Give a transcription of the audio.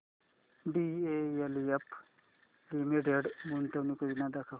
DLF limited गुंतवणूक योजना दाखव